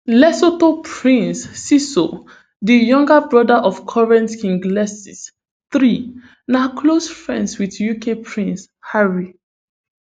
lesotho prince seeiso di younger brother of current king letsie iii na close friends with uk prince harry